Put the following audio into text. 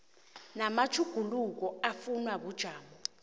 namatjhuguluko afunwa bujamo